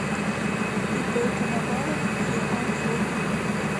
ип коновалов еа фото